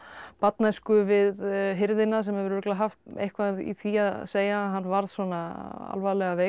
barnæsku við hirðina sem hefur örugglega haft eitthvað í því að segja að hann varð svona alvarlega veikur